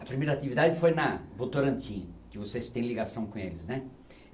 A primeira atividade foi na Votorantim, que vocês têm ligação com eles, né?